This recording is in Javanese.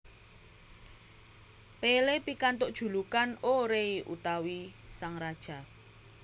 Pelé pikantuk julukan O Rei utawi Sang Raja